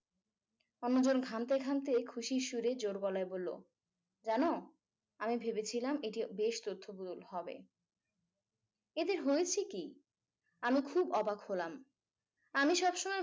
অন্যজন ঘামতে ঘামতে খুশির সুরে জোড় গলায় বললো জানো আমি ভেবেছিলাম এটি বেশ তথ্যবহুল হবে এদের হয়েছে কি আমি খুব অবাক হলাম আমি সবসময়